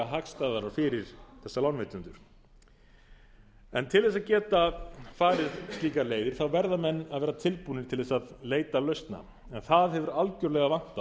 hagstæðara fyrir þessa lánveitendur en til að geta farið slíkar leiðir verða menn að vera tilbúnir til að leita lausna en það hefur algerlega vantað hjá